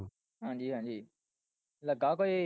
ਹਾਂਜੀ ਹਾਂਜੀ, ਲੱਗਾ ਕੋਈ?